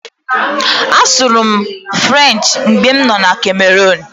Asụrụ m asụsụ French mgbe m nọ Cameroon.